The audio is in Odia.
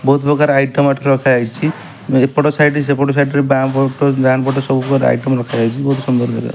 ବହୁତ ପ୍ରକାର ଆଇଟମ ଏଠି ରଖାଯାଇଛି ଏପଟ ସାଇଡ ସେପଟ ସାଇଡ ରେ ବାଆଁ ପଟ ଡାହାଣ ପଟ ସବୁ ପ୍ରକାର ଆଇଟମ ରଖା ଯାଇଛି ବହୁତ ସୁନ୍ଦର ଦେଖା --